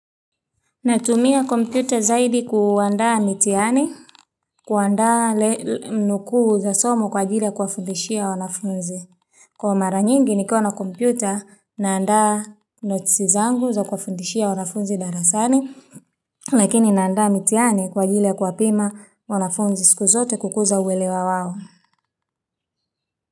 Natumia kompyuta zaidi kuandaa mitihani, kuandaa nukuu za somo kwajili kuwafundishia wanafunzi. Kwa mara nyingi nikiwa na kompyuta, naandaa notisi zangu za kufundishia wanafunzi darasani, lakini naandaa mitihani kwajili ya kuwapima wanafunzi siku zote kukuza uwelewa wawo.